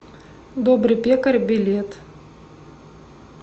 добрый пекарь билет